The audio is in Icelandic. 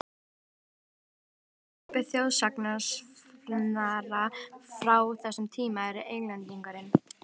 Í hópi þjóðsagnasafnara frá þessum tíma eru Englendingurinn